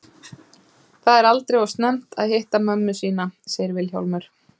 Það er aldrei of snemmt að hitta mömmu sína, segir Vilhjálmur.